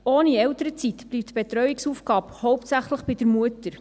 Ohne Elternzeit bleibt die Betreuungsaufgabe hauptsächlich bei der Mutter.